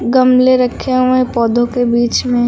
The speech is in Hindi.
गमले रखे हुए पौधों के बीच में।